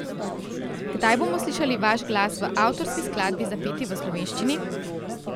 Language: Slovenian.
Kdaj bomo slišali vaš glas v avtorski skladbi zapeti v slovenščini?